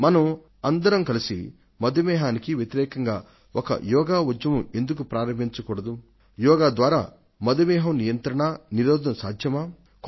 మనం అందరం కలసి మధుమేహానికి వ్యతిరేకంగా ఒక యోగా ఉద్యమాన్ని ఎందుకు ప్రారంభించ కూడదు యోగా ద్వారా మధుమేహం నియంత్రణ నిరోధాలు అనేవి సాధ్యపడతాయా